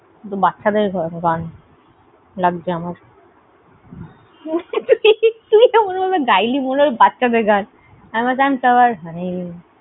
এটা বাচ্ছাদের গান লাগছে আমার। তুই এমনভাবে গাইলি মনে হলো বাচ্ছাদের গান। I am a sunflower a little funny